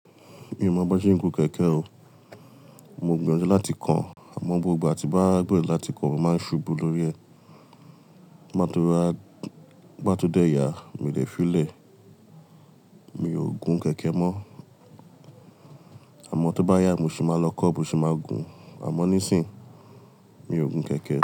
In mọ bi won sen gun kẹ̀kẹ́ o. Mo gbìyànjú láti kọ̀, àmọ́ gbogbo ìgbà tí n bá gbero láti kọ̀ mo máa ń ṣubú lórí ẹ̀. Ngbá tó yá, ngbá tó dẹ́ yá, mo de fílè. Mi ò gun kẹ̀kẹ́ mọ. Àmọ́ tó bá yá, mo ṣi máa lọ kọ́, bi mo ṣe máa gun. Àmọ́ nísìin, mi ò gun kẹ̀kẹ́.